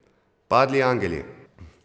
Padli angeli!